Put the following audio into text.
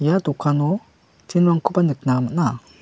ia dokano tin-rangkoba nikna man·a.